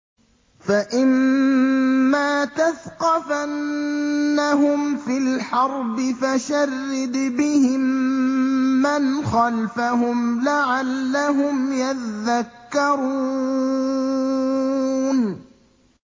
فَإِمَّا تَثْقَفَنَّهُمْ فِي الْحَرْبِ فَشَرِّدْ بِهِم مَّنْ خَلْفَهُمْ لَعَلَّهُمْ يَذَّكَّرُونَ